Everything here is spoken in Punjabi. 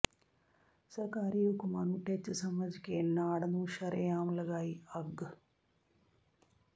ਸਰਕਾਰੀ ਹੁਕਮਾਂ ਨੂੰ ਟਿੱਚ ਸਮਝ ਕੇ ਨਾੜ ਨੂੰ ਸ਼ਰ੍ਹੇਆਮ ਲਗਾਈ ਅੱਗ